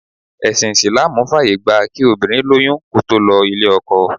Ẹsin Isilaamu fàyè gba kí obìnrin lóyún kó tó lọ ilé-ọkọ.